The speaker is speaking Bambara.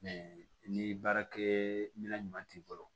ni baarakɛminɛn ɲuman t'i bolo